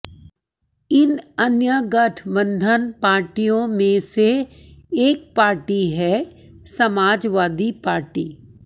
इन अन्य गठबंधन पार्टियों ने से एक पार्टी है समाजवादी पार्टी